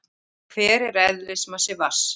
Hver er eðlismassi vatns?